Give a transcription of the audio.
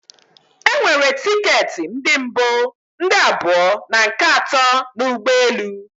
E nwere ticket ndi mbu, ndị abụọ and nke ato na ụgbọelu